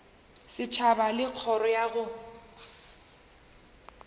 setšhaba le kgoro ya go